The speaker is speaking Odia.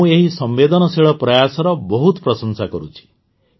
ମୁଁ ଏହି ସମ୍ବେଦନଶୀଳ ପ୍ରୟାସର ବହୁତ ପ୍ରଶଂସା କରୁଛି